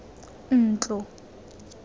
ntlo